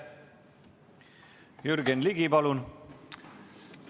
Jürgen Ligi, palun!